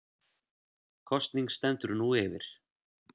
Kosning stendur nú yfir